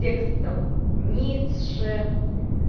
текстом ницше